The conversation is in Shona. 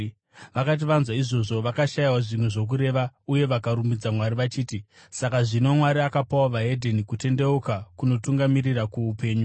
Vakati vanzwa izvozvo, vakashayiwa zvimwe zvokureva uye vakarumbidza Mwari vachiti, “Saka zvino Mwari akapawo vedzimwe ndudzi kutendeuka kunotungamirira kuupenyu.”